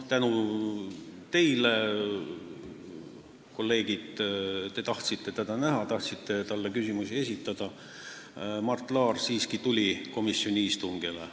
Tänu teile, kolleegid, kes te tahtsite teda näha ja talle küsimusi esitada, Mart Laar siiski tuli komisjoni istungile.